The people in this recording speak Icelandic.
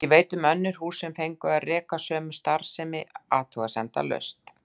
Ég veit um önnur hús sem fengu að reka sömu starfsemi athugasemdalaust.